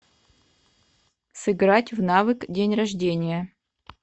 сыграть в навык день рождения